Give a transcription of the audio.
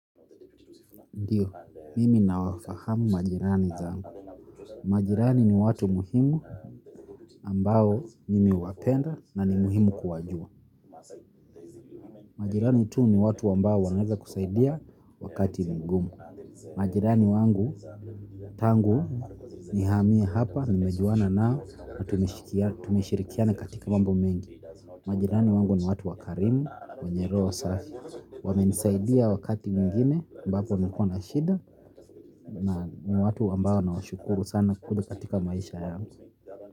Ndiyo, mimi nawafahamu majirani zangu. Majirani ni watu muhimu ambao mimi huwapenda na ni muhimu kuwajua. Majirani tu ni watu ambao wanaweza kusaidia wakati ngumu. Majirani wangu tangu nihamie hapa nimejuana nao tumeshirikiana katika mambo mengi majirani wangu ni watu wa karimu wenye roho safi wamenisaidia wakati nyingine ambapo nilikuwa na shida ni watu ambao nawashukuru sana kukuja katika maisha yangu.